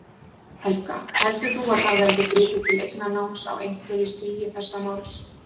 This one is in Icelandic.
Helga: Heldur þú að það verði gripið til eignarnáms á einhverju stigi þessa máls?